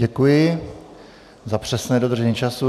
Děkuji za přesné dodržení času.